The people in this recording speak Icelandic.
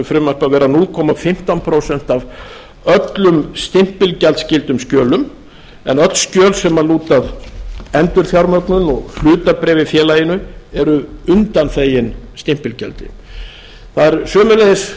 vera núll komma fimmtán prósent af öllum stimpilgjaldsskyldum skjölum en öll skjöl sem lúta að endurfjármögnun og hlutabréf í félaginu eru undanþegin stimpilgjaldi það er sömuleiðis